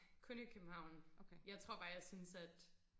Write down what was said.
kun i København jeg tror bare at jeg synes at